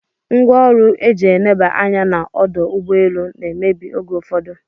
Ngwaọru eji eneba anya na ọdọugbeelu na emebi oge ụfụdu